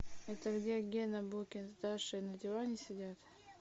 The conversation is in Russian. это где гена букин с дашей на диване сидят